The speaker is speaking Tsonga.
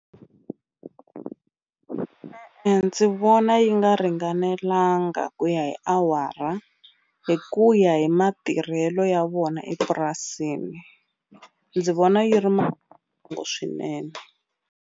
ndzi vona yi nga ringanelanga ku ya hi awara hi ku ya hi matirhelo ya vona epurasini ndzi vona yi ri swinene.